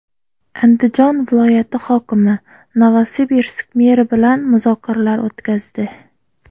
Andijon viloyati hokimi Novosibirsk meri bilan muzokaralar o‘tkazdi.